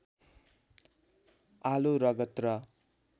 आलो रगत र